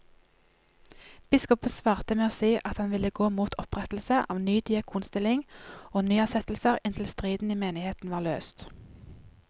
Biskopen svarte med å si at han ville gå mot opprettelse av ny diakonstilling og nyansettelser inntil striden i menigheten var løst.